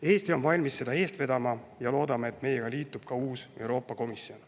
Eesti on valmis seda eest vedama ja loodame, et meiega liitub ka uus Euroopa Komisjon.